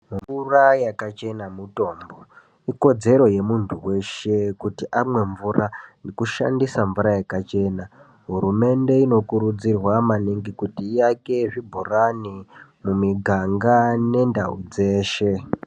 Mvura yakachena mutombo ikodzero yemuntu weshe kuti amwe mvura nekushandisa mvura yakachena hurumende knokurudzirwa maningi kuti iake zvibhorani mumiganga nendao dzeshe.